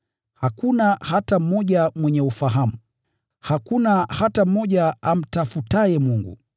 Hakuna hata mmoja mwenye ufahamu, hakuna hata mmoja amtafutaye Mungu.